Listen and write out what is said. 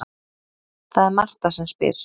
Það er Marta sem spyr.